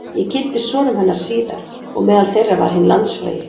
Ég kynntist sonum hennar síðar og meðal þeirra var hinn landsfrægi